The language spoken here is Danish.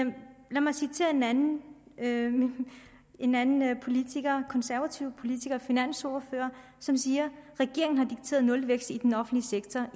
mig citere en anden en anden politiker en konservativ politiker og finansordfører som siger regeringen har dikteret nulvækst i den offentlige sektor